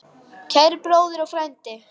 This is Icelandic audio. Kæri bróðir og frændi.